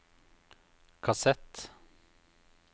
kassett